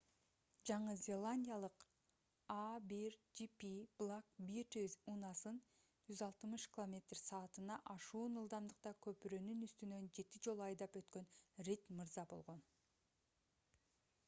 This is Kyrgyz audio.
жаңы зеландиялык a1gp black beauty унаасын 160 км/с. ашуун ылдамдыкта көпүрөнүн үстүнөн жети жолу айдап өткөн рид мырза болгон